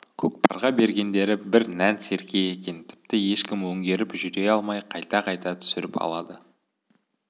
көкпарға бергендері бір нән серке екен тіпті ешкім өңгеріп жүре алмай қайта-қайта түсіріп алады